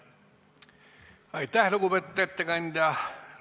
Aitäh, lugupeetud ettekandja!